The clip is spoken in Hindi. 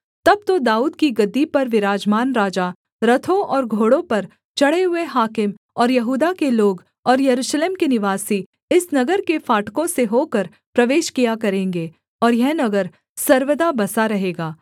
तब तो दाऊद की गद्दी पर विराजमान राजा रथों और घोड़ों पर चढ़े हुए हाकिम और यहूदा के लोग और यरूशलेम के निवासी इस नगर के फाटकों से होकर प्रवेश किया करेंगे और यह नगर सर्वदा बसा रहेगा